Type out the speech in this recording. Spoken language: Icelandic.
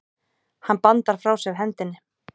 Hann bandar frá sér hendinni.